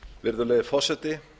virðulegi forseti